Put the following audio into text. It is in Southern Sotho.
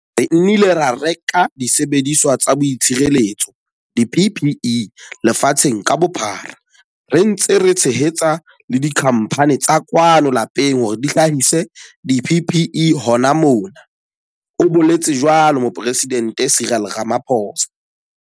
Re nnile ra reka disebediswa tsa boitshireletso, di-PPE lefatsheng ka bophara, re ntse re tshehetsa le dikhamphane tsa kwano lapeng hore di hlahise di-PPE hona mona, o boletse jwalo Moporesidente Cyril Ramaphosa.